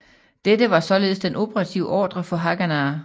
Dette var således den operative ordre for Haganah